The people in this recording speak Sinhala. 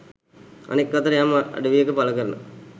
අනෙක් අතට යම් අඩවියක පලකරන